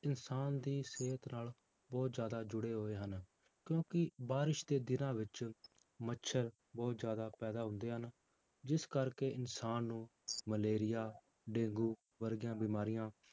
ਇਨਸਾਨ ਦੀ ਸਿਹਤ ਨਾਲ ਬਹੁਤ ਜ਼ਿਆਦਾ ਜੁੜੇ ਹੋਏ ਹਨ, ਕਿਉਂਕਿ ਬਾਰਿਸ਼ ਦੇ ਦਿਨਾਂ ਵਿੱਚ ਮੱਛਰ ਬਹੁਤ ਜ਼ਿਆਦਾ ਪੈਦਾ ਹੁੰਦੇ ਹਨ, ਜਿਸ ਕਰਕੇ ਇਨਸਾਨ ਨੂੰ ਮਲੇਰੀਆ, ਡੇਂਗੂ ਵਰਗੀਆਂ ਬਿਮਾਰੀਆਂ